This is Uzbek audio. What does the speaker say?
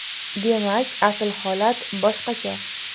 Demak, asl holat boshqacha.